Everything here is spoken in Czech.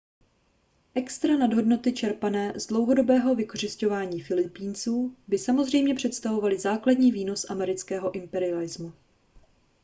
extra nadhodnoty čerpané z dlouhodobého vykořisťování filipínců by samozřejmě představovaly základní výnos amerického imperialismu